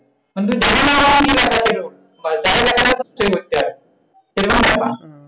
বা যারে দেখানো হচ্ছে সেই বুঝছে আরকি।